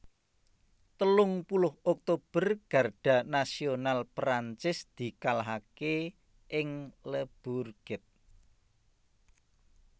Telung puluh Oktober Garda Nasional Prancis dikalahaké ing Le Bourget